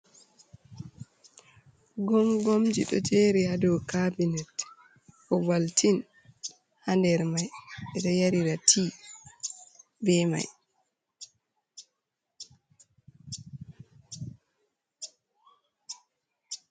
Gomgomji ɗo jeri ha do cabinet, Oval tin ha nder mai ɓeɗo yarira ɓe mai.